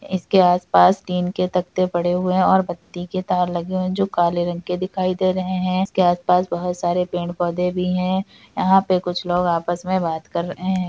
इसके आस-पास टीन के तख्ते पड़े हुए है और बत्ती के तार लगे हुए है जो काले रंग के दिखाई दे रहे है इसके आस-पास बहुत सारे पेड़-पौधे भी है यहाँ पे कुछ लोग आपस में बात कर रहे है।